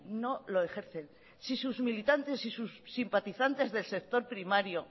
no lo ejercen si sus militantes y sus simpatizantes del sector primario